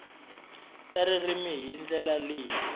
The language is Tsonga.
ta ririmi hi ndlela leyi